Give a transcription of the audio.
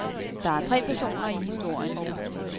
Der er tre personer i historien.